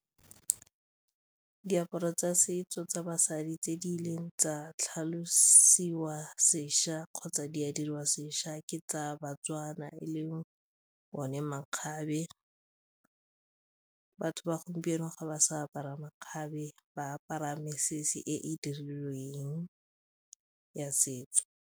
Diaparo tsa setso tsa basadi tse di rileng tsa tlhalosiwa sešwa kgotsa di a diriwa sešwa ke tsa ba-Tswana e leng one makgabe, batho ba gompieno ga ba sa apara makgabe, ba apara mesese e e dirilweng ya setso.